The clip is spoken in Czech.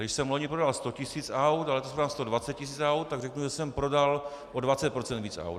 Když jsem vloni prodal 100 tisíc aut a letos prodám 120 tisíc aut, tak řeknu, že jsem prodal o 20 % víc aut.